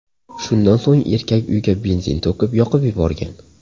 Shundan so‘ng erkak uyga benzin to‘kib, yoqib yuborgan.